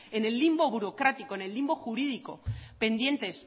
en el limbo burocrático en el limbo jurídico pendientes